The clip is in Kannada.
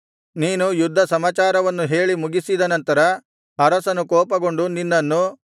ನೀನು ಯುದ್ಧ ಸಮಾಚಾರವನ್ನು ಹೇಳಿ ಮುಗಿಸಿದ ನಂತರ ಅರಸನು ಕೋಪಗೊಂಡು ನಿನ್ನನ್ನು